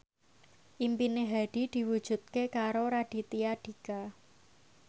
impine Hadi diwujudke karo Raditya Dika